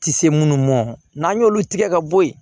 Tɛ se minnu mɔn n'an y'olu tigɛ ka bɔ yen